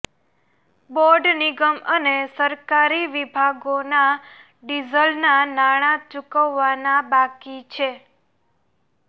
board નિગમ અને સરકારી વિભાગોના ડીઝલના નાણાં ચૂકવવાના બાકી છે